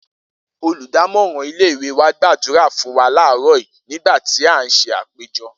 Olùdámò̩ràn ilé ìwé wa gbàdúrà fún wa láàáró̩ yìí nígbà tí a ń s̩e àpéjo̩